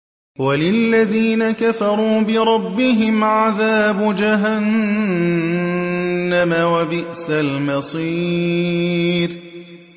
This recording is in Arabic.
وَلِلَّذِينَ كَفَرُوا بِرَبِّهِمْ عَذَابُ جَهَنَّمَ ۖ وَبِئْسَ الْمَصِيرُ